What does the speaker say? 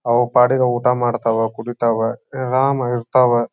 ಅವು ಪಾಡಿಗೆ ಅವು ಊಟ ಮಾಡುತಾವೆ ಕುಡಿತಾವೆ ಆರಾಮಾಗಿ ಇರ್ತಾವೆ.